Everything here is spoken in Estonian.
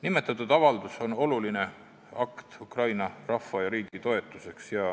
Nimetatud avaldus on oluline akt Ukraina rahva ja riigi toetuseks.